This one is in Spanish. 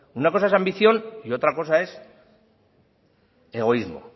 una cosa es ambición y otra cosa es egoísmo